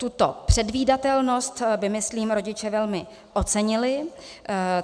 Tuto předvídatelnost by myslím rodiče velmi ocenili.